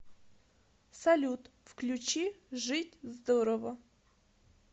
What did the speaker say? салют включи жить здорово